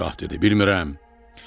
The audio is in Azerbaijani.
Şah dedi: Bilmirəm.